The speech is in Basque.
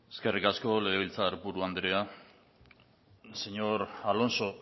eskerrik asko legebiltzar buru andrea señor alonso